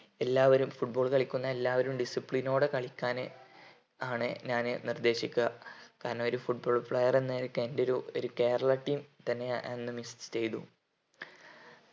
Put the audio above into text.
എല്ലാവരും football കളിക്കുന്ന എല്ലാവരും discipline ഓടെ കളിക്കാന് ആണ് ഞാന് നിർദേശിക്ക കാരണം ഒരു football player എന്നനിലക്ക് എൻ്റെ ഒരു കേരള team തന്നെ അന്ന് miss ചെയ്‌തു